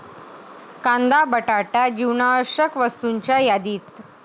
कांदा, बटाटा जीवनावश्यक वस्तूंच्या यादीत